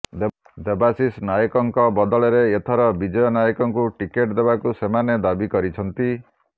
ଦେବାଶିଷ ନାୟକଙ୍କ ବଦଳରେ ଏଥର ବିଜୟ ନାୟକଙ୍କୁ ଟିକେଟ ଦେବାକୁ ସେମାନେ ଦାବି କରିଛନ୍ତି